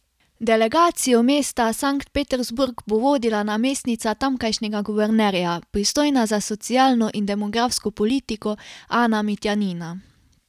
Delegacijo mesta Sankt Peterburg bo vodila namestnica tamkajšnjega guvernerja, pristojna za socialno in demografsko politiko Ana Mitjanina.